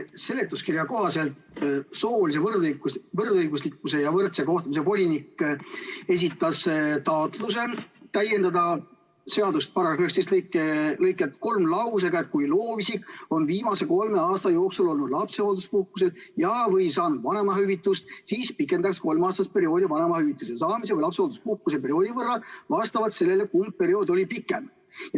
Seletuskirja kohaselt esitas soolise võrdõiguslikkuse ja võrdse kohtlemise volinik taotluse täiendada seaduse § 19 lõiget 3 lausega "Kui loovisik on viimase kolme aasta jooksul olnud lapsehoolduspuhkusel ja/või saanud vanemahüvitust, siis pikendatakse kolmeaastast perioodi vanemahüvituse saamise või lapsehoolduspuhkuse perioodi võrra vastavalt sellele, kumb periood oli pikem.